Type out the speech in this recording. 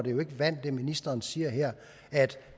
det ministeren siger her